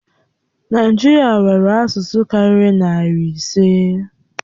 Naijiria nwere asụsụ karịrị narị ise.